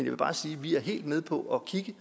vil bare sige at vi er helt med på at kigge